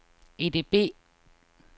EDB